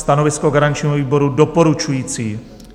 Stanovisko garančního výboru: doporučující.